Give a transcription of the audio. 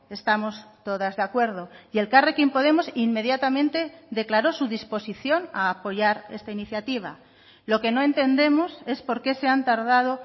estamos todas de acuerdo y elkarrekin podemos inmediatamente declaró su disposición a apoyar esta iniciativa lo que no entendemos es porqué se han tardado